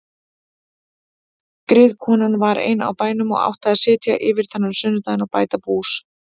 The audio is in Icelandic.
Griðkonan var ein á bænum og átti að sitja yfir þennan sunnudaginn og gæta bús.